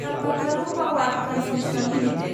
कालपातारु power transmission limited